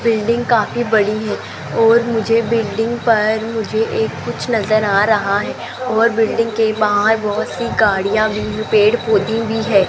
Building काफी बड़ी है और मुझे बिल्डिंग पर मुझे एक कुछ नजर आ रहा है और बिल्डिंग के बाहर बहोत सी गाड़ियां भी पेड़ पौधे भी है।